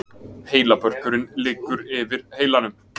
Heilabörkurinn liggur yfir heilanum.